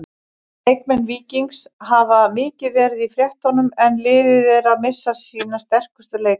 Leikmenn Víkings hafa mikið verið í fréttunum en liðið er að missa sína sterkustu leikmenn.